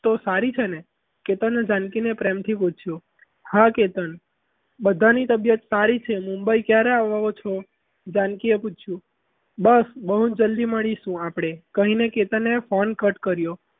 તો સારી છે ને કે તને જાનકીને પ્રેમથી પૂછ્યું હા કેતન બધાને તબિયત સારી છે મુંબઈ ક્યારે આવો છો? જાનકી એ પૂછ્યું બસ બહુ જલ્દી મળીશું આપણે કહીને એને phone cut કર્યો.